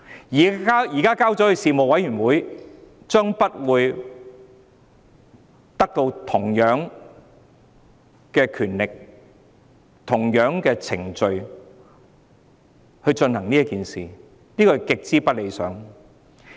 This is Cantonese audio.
如果交由事務委員會處理，將不會有同樣的權力和程序處理《條例草案》，這是極為不理想的。